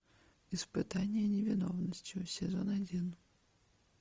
испытание невиновностью сезон один